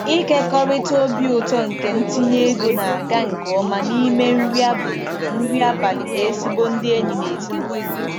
Ịkekọrịta obi ụtọ nke ntinye ego na-aga nke ọma n'ime nri abalị na nri abalị na ezigbo ndị enyi na ezinụlọ.